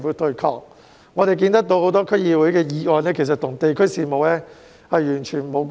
據我們所見，區議會有多項議案其實與地區事務完全無關。